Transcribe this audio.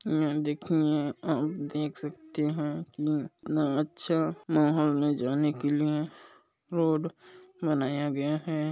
यहाँ देखिये आप देख सकते है की कितना अच्छा महल में जाने के लिए रोड बनाया गया है।